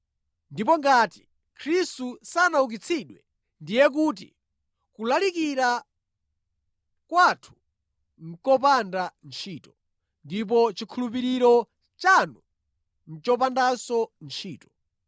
Ndipo ngati Khristu sanaukitsidwe, ndiye kuti kulalikira kwathu nʼkopanda ntchito, ndipo chikhulupiriro chanu nʼchopandanso ntchito.